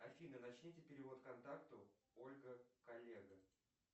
афина начните перевод контакту ольга коллега